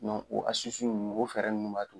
o ninnu o fɛɛrɛ ninnu b'a to